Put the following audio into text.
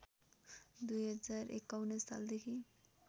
२०५१ साल देखि